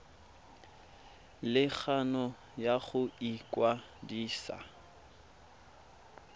le kgano ya go ikwadisa